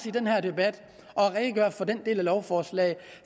i den her debat og redegør for den del af lovforslaget